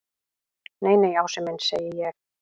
Nei, nei, Ási minn segi ég.